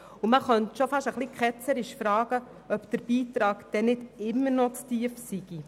Man könnte etwas ketzerisch fragen, ob der Beitrag denn nicht immer noch zu tief liege.